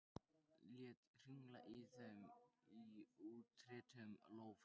Lét hringla í þeim í útréttum lófa.